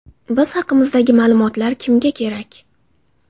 Biz haqimizdagi ma’lumotlar kimga kerak?